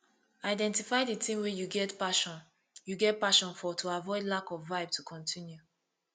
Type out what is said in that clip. identify di thing wey you get passion you get passion for to avoid lack of vibe to continue